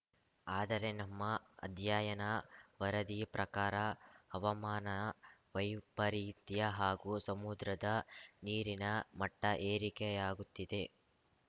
ಆದರೆ ನಮ್ಮ ಅಧ್ಯಯನ ವರದಿ ಪ್ರಕಾರ ಹವಾಮಾನ ವೈಪರಿತ್ಯ ಹಾಗೂ ಸಮುದ್ರದ ನೀರಿನ ಮಟ್ಟಏರಿಕೆಯಾಗುತ್ತಿದೆ